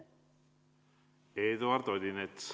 Eduard Odinets.